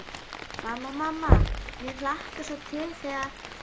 Mamma, mamma mér hlakkar svo til þegar.